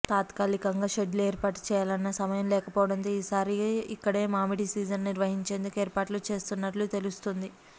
తాత్కాలికంగా షెడ్లు ఏర్పాటు చేయాలన్న సమయం లేకపోవడంతో ఈసారి ఇక్కడే మామిడి సీజన్ నిర్వహించేందుకు ఏర్పాట్లు చేస్తున్నట్లు తెలుస్తోంది